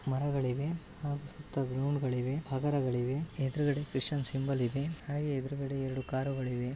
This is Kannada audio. ಮರಗಳಿವೆ ಹಾಗು ಸುತ್ತ ಗ್ರೌಂಡ್ ಗಳಿವೆ. ಹಗರಗಳಿವೆ. ಎದುರುಗಡೆ ಕ್ರಿಶ್ಚಿಯನ್ ಸಿಂಬಲ್ ಇದೆ ಹಾಗು ಎದುರುಗಡೆ ಎರಡು ಕಾರುಗಳಿವೆ.